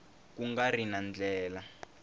ku nga ri na ndlela